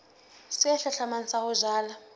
se hlahlamang sa ho jala